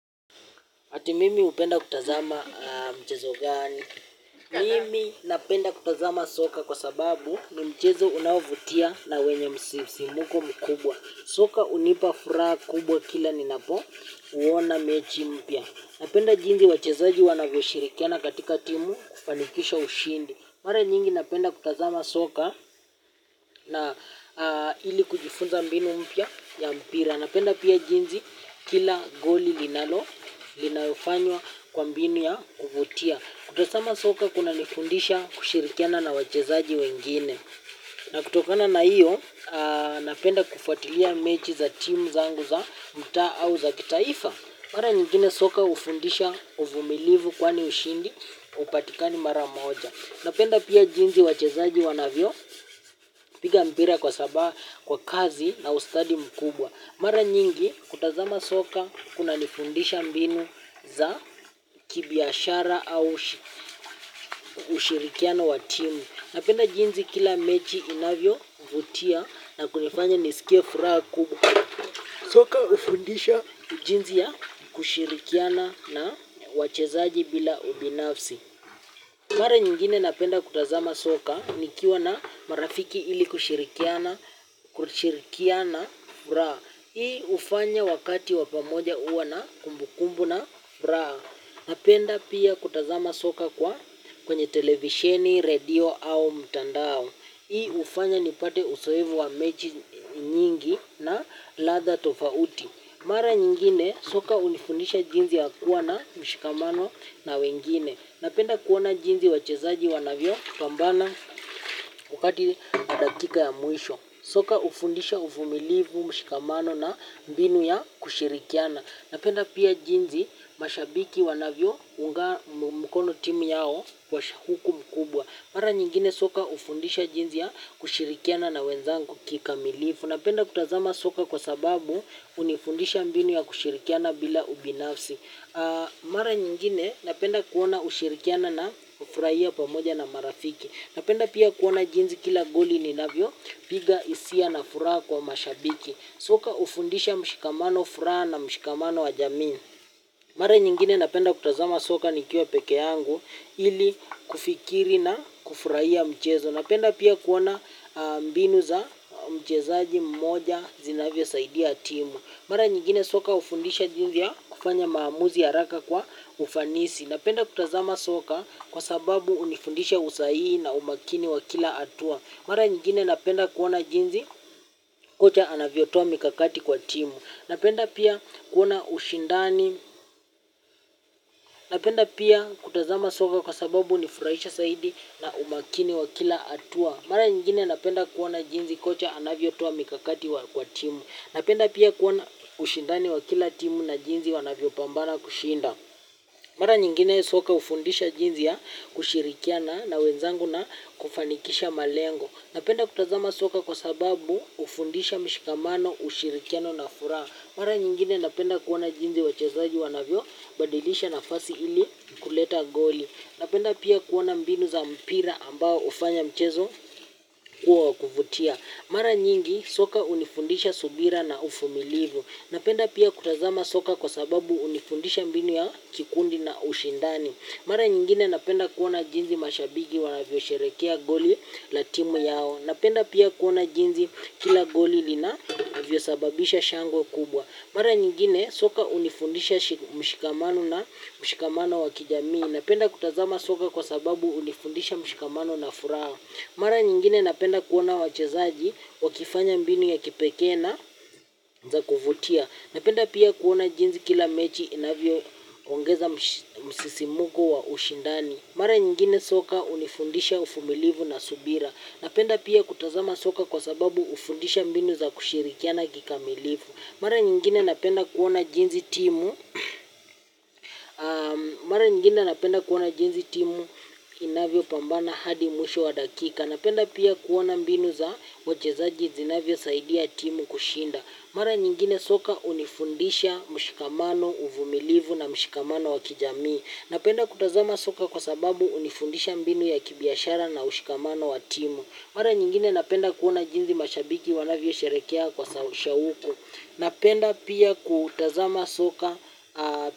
Ati mimi upenda kutazama mchezo gani. Mimi napenda kutazama soka kwa sababu ni mchezo unaovutia na wenye msisimko mkubwa. Soka unipa furaha kubwa kila ninapo uona mechi mpya. Napenda jinsi wachezaji wanavyoshirikiana katika timu kufanikisha ushindi. Mara nyingi napenda kutazama soka na ili kujifunza mbinu mpya ya mbira napenda pia jinsi kila goli linavyofanywa kwa mbinu ya kuvutia. Kutosama soka kunanifundisha kushirikiana na wachezaji wengine. Na kutokana na hiyo, napenda kufuatilia mechi za timu zangu za mtaa au za kitaifa. Mara nyingine soka ufundisha uvumilivu kwani ushindi upatikani mara moja. Napenda pia jinsi wachezaji wanavyopiga mpira kwa sabaha kwa kazi na ustadi mkubwa. Mara nyingi kutazama soka kunanifundisha mbinu za kibiashara au ushirikiano wa timu. Napenda jinsi kila mechi inavyovutia na kunifanya nisikie furaha kubwa. Soka ufundisha jinsi ya kushirikiana na wachezaji bila ubinafsi. Mara nyingine napenda kutazama soka nikiwa na marafiki ili kushirikiana furaha. Hii ufanya wakati wa pamoja uwa na kumbukumbu na furaha. Napenda pia kutazama soka kwa kwenye televisheni, radio au mtandao. Hii ufanya nipate uzoevu wa mechi nyingi na ladha tofauti. Mara nyingine soka unifundisha jinsi ya kuwa na mshikamano na wengine. Napenda kuona jinsi wachezaji wanavyopambana wakati dakika wa mwisho. Soka ufundisha uvumilivu mshikamano na mbinu ya kushirikiana. Napenda pia jinsi mashabiki wanavyounga mkono timu yao kwa shauku mkubwa. Mara nyingine soka ufundisha jinsi ya kushirikiana na wenzangu kikamilivu. Napenda kutazama soka kwa sababu unifundisha mbinu ya kushirikiana bila ubinafsi. Mara nyingine napenda kuona ushirikiana na hufurahia pamoja na marafiki. Napenda pia kuona jinsi kila goli ninavyopiga isia na furaha kwa mashabiki. Soka ufundisha mshikamano furaha na mshikamano wa jamii mare nyingine napenda kutazama soka nikiwa peke yangu ili kufikiri na kufurahia mchezo. Napenda pia kuona mbinu za mchezaji mmoja zinavyosaidia timu. Mara nyingine soka ufundisha jinsi ya kufanya maamuzi haraka kwa ufanisi. Napenda kutazama soka kwa sababu unifundisha usahihi na umakini wa kila hatua. Mara nyingine napenda kuona jinsi kocha anavyotoa mikakati kwa timu. Napenda pia kuona ushindani. Napenda pia kutazama soka kwa sababu unifurahisha saidi na umakini wa kila hatua. Mara nyingine napenda kuona jinsi kocha anavyotoa mikakati kwa timu. Napenda pia kuona ushindani wa kila timu na jinsi wanavyopambara kushinda. Mara nyingine soka ufundisha jinsi ya kushirikiana na wenzangu na kufanikisha malengo. Napenda kutazama soka kwa sababu ufundisha mshikamano ushirikiano na furaha. Mara nyingine napenda kuona jinsi wachezaji wanavyobadilisha nafasi ili kuleta goli. Napenda pia kuona mbinu za mpira ambao hufanya mchezo kuwa wa kuvutia. Mara nyingi soka unifundisha subira na ufumilivu. Napenda pia kutazama soka kwa sababu unifundisha mbinu ya kikundi na ushindani. Mara nyingine napenda kuona jinsi mashabigi wanavyosherekea goli na timu yao, napenda pia jinsi kila goli linavyosababisha shangwe kubwa mara nyingine soka hunifundishamshikamano na mshikamano wa kijamii. Napenda kutazama soka kwa sababu hunifundisha mshikamano na furaha. Mara nyingine napenda kuona wachezaji wakifanya mbinu ya kipekee na za kuvutia. Napenda pia kuona jinsi kila mechi inavyoongeza msisimuko wa ushindani. Mara nyingine soka unifundisha uvumilivu na subira. Napenda pia kutazama soka kwa sababu ufundisha mbinu za kushirikiana kikamilivu. Mara nyingine napenda kuona jinsi timu inavyopambana hadi mwisho wa dakika. Napenda pia kuona mbinu za wachezaji zinavyosaidia timu kushinda. Mara nyingine soka unifundisha mshikamano, uvumilivu na mshikamano wa kijamii. Napenda kutazama soka kwa sababu unifundisha mbinu ya kibiashara na ushikamano wa timu. Mara nyingine napenda kuona jinsi mashabiki wanavyosherehekea kwa shauku. Napenda pia kutazama soka.